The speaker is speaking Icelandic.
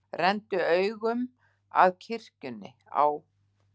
Renndu augum að kirkjunni á